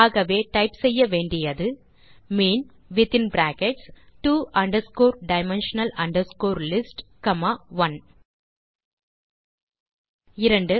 ஆகவே நாம் டைப் செய்ய வேண்டியது mean within brackets two dimensional list comma 1 2